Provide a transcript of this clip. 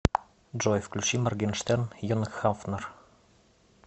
джой включи моргенштерн йонг хафнер